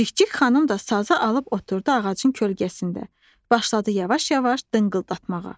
Cikcik xanım da sazı alıb oturdu ağacın kölgəsində, başladı yavaş-yavaş dınqıldatmağa.